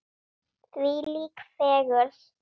Þvílík fegurð!